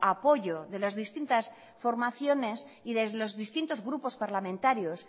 apoyo de las distintas formaciones y de los distintos grupos parlamentarios